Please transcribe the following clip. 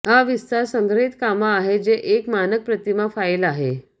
हा विस्तार संग्रहित कामा आहे जे एक मानक प्रतिमा फाइल आहे